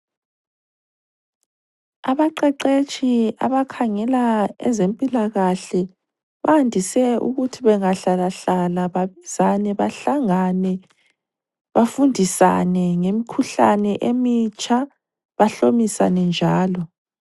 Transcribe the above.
Abaqeqetshi abakhangela ezempilakahle bandise ukuthi bengahlala hlala babizane, bahlangane bafundisane ngemkhuhlane emitsha bahlomisane njalo.